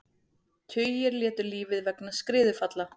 Tugir létu lífið vegna skriðufalla